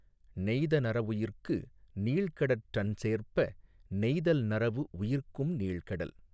நெய்தனறவுயிர்க்கு நீள்கடற்றண்சேர்ப்ப நெய்தல் நறவு உயிர்க்கும் நீள் கடல்